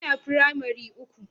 Ina firamare uku